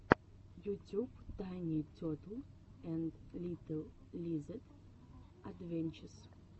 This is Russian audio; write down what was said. ютюб тайни тетл энд литл лизэд адвенчез